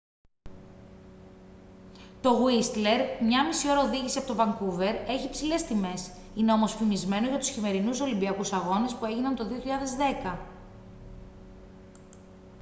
το γουίστλερ 1.5 ώρα οδήγηση από το βανκούβερ έχει υψηλές τιμές είναι όμως φημισμένο για τους χειμερινούς ολυμπιακούς αγώνες που έγιναν το 2010